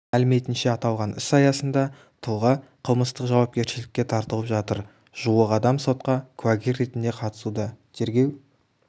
мәліметінше аталған іс аясында тұлға қылмыстық жауапкершілікке тартылып жатыр жуық адам сотқа куәгер ретінде қатысуда тергеу